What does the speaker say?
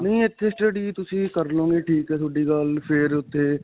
ਨਹੀਂ ਇੱਥੇ study ਤੁਸੀਂ ਕਰ ਲਵੋਗੇ ਠੀਕ ਹੈ. ਤੁਹਾਡੀ ਗੱਲ ਫਿਰ ਉੱਥੇ